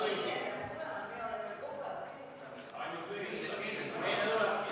Istungi lõpp kell 15.57.